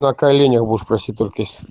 на коленях будешь просить только если